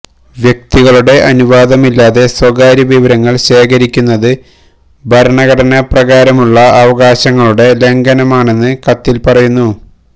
വ്യക്തികളുടെ അനുവാദമില്ലാതെ സ്വകാര്യ വിവരങ്ങള് ശേഖരിക്കുന്നത് ഭരണഘടന പ്രകാരമുള്ള അവകാശങ്ങളുടെ ലംഘനമാണെന്ന് കത്തില് പറയുന്നു